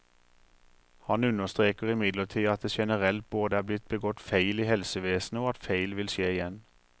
Hun understreker imidlertid at det generelt både er blitt begått feil i helsevesenet, og at feil vil skje igjen.